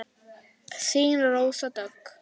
Þín, Rósa Dögg.